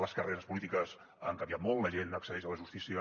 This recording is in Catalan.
les carreres polítiques han canviat molt la gent accedeix a la justícia